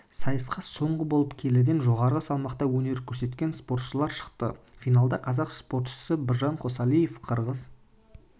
сайысқа соңғы болып келіден жоғары салмақта өнер көрсететін спортшылар шықты финалда қазақ спортшысы біржан қосалиев қырғыз